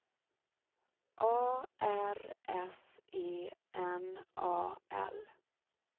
A R S E N A L